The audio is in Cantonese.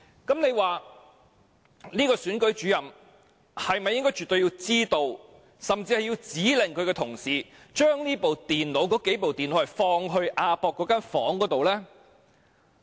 這位首席選舉事務主任是否絕對應該知道，甚至指令他的同事將那數部電腦放置在亞博館的房間之內。